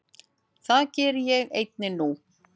Það geri ég einnig nú.